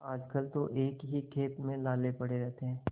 आजकल तो एक ही खेप में लाले पड़े रहते हैं